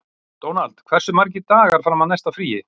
Dónald, hversu margir dagar fram að næsta fríi?